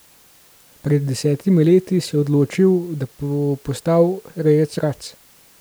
Pred desetimi leti se je odločil, da bo postal rejec rac.